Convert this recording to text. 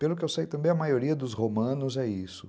Pelo que eu sei, também a maioria dos romanos é isso.